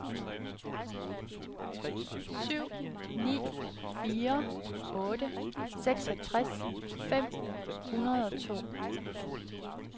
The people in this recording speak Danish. syv ni fire otte seksogtres fem hundrede og to